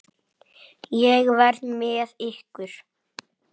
Ég verð með ykkur.